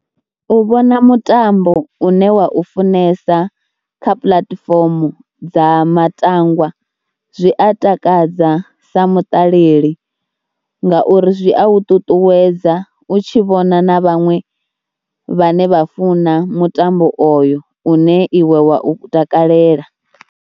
U vhona mutambo une wa u funesa kha puḽatifomo dza matangwa zwi a takadza sa mutalela ngauri zwi a u ṱuṱuwedza u tshi vhona na vhaṅwe vhane vha funa mutambo oyo une iwe wa u takalela.